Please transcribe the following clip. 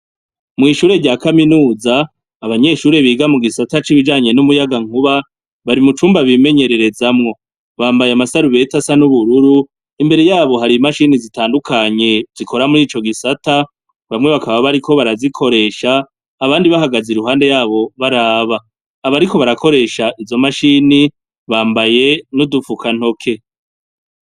Mw'ishure rya kaminuza abanyeshure biga mu gisata c'ibijanye n'umuyaga nkuba bari mu cumba bimenyererezamwo bambaye amasarubeta asa n'ubururu imbere yabo hari imashini zitandukanye zikora muri ico gisata ngo bamwe bakaba bariko barazikoresha abandi bahagaze i ruhande yabo baraba abariko barakoresha izo mashini bambaye n'udupfuka ntoke.